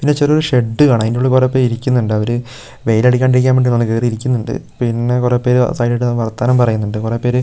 പിന്നെ ചെറിയൊരു ഷെഡ് കാണാം അതിനുള്ളിൽ കുറെപേരിരിക്കുന്നുണ്ട് അവര് വെയിൽ അടിക്കാതിരിക്കാൻ വേണ്ടി ആണെന്ന് തോന്നുന്നു കയറി ഇരിക്കുന്നുണ്ട് പിന്നെ കുറെ പേര് സൈഡിൽ ആയിട്ട് നിന്ന് വർത്തമാനം പറയുന്നുണ്ട് കുറെ പേര് --